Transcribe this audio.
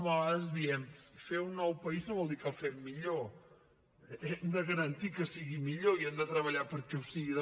a vegades diem fer un nou país no vol dir que el fem millor hem de garantir que sigui millor i hem de treballar perquè ho sigui